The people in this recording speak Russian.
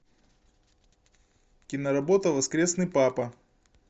киноработа воскресный папа